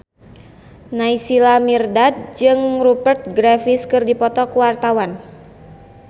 Naysila Mirdad jeung Rupert Graves keur dipoto ku wartawan